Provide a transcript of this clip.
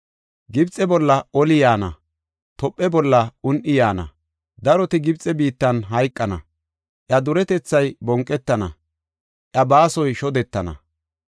Gibxe bolla oli yaana; Tophe bolla un7i yaana. Daroti Gibxe biittan hayqana; iya duretethay bonqetana; iya baasoy shodetana.